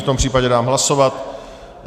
V tom případě dám hlasovat.